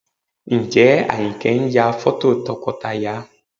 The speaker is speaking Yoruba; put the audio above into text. Ǹjẹ́ Àyìnkẹ́ ń ya fọ́tò tọkọtaya?